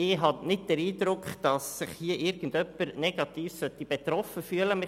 Ich habe nicht den Eindruck, dass sich hier irgendjemand negativ betroffen fühlen sollte.